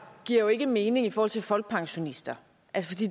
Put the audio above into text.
giver ikke mening i forhold til folkepensionister